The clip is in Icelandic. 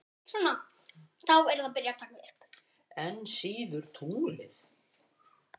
Enn síður tunglið.